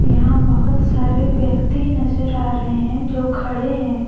यहां बहोत सारे व्यक्ति नजर आ रहे हैं जो खड़े हैं।